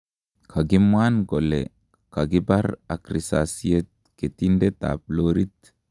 kagimwan kole kogipar ak risasiet ketindet ap lorit